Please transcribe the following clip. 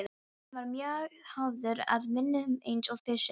Björn var mjög hafður að vinnu eins og fyrr segir.